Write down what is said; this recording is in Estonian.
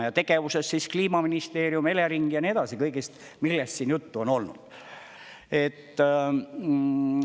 Ja tegevusest siis Kliimaministeerium, Elering ja nii edasi, kõigest, millest siin juttu on olnud.